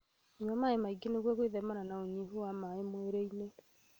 Nyua maĩ maingĩ nĩguo gwĩthema na ũnyihu wa maĩ mwĩrĩ-inĩ